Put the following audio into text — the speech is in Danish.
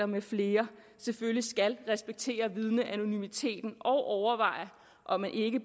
med flere selvfølgelig skal respektere vidneanonymiteten og overveje om ikke